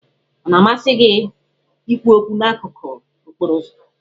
Ọ na-amasị gị ikwu okwu n'akụkụ okporo ụzọ?